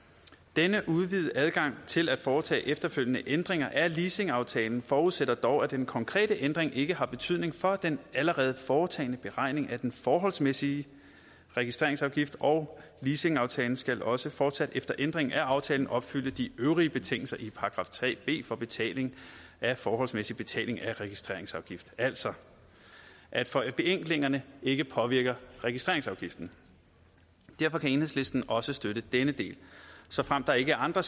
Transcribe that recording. denne udvidede adgang til at foretage efterfølgende ændringer af leasingaftalen forudsætter dog at den konkrete ændring ikke har betydning for den allerede foretagne beregning af den forholdsmæssig registreringsafgift og leasingaftalen skal også fortsat efter ændringen af aftalen opfylde de øvrige betingelser i § tre b for betaling af forholdsmæssig betaling af registreringsafgift det altså at forenklingerne ikke påvirker registreringsafgiften derfor kan enhedslisten også støtte denne del såfremt der ikke er andre